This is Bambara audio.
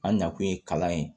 An nakun ye kalan ye